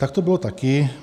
Tak to bylo taky.